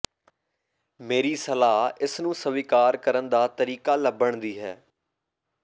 ਮੇਰੀ ਸਲਾਹ ਇਸ ਨੂੰ ਸਵੀਕਾਰ ਕਰਨ ਦਾ ਤਰੀਕਾ ਲੱਭਣ ਦੀ ਹੈ